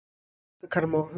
Gluggakarma og hurðir.